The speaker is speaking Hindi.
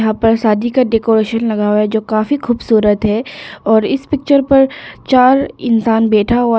यहां पर शादी का डेकोरेशन लगा हुआ है जो काफी खूबसूरत है और इस पिक्चर पर चार इंसान बैठा हुआ है।